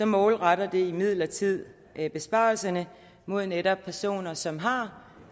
målretter imidlertid helt konkret besparelserne mod netop personer som har